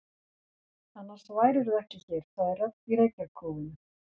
Annars værirðu ekki hér, sagði rödd í reykjarkófinu.